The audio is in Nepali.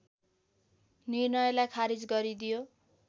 निर्णयलाई खारिज गरिदियो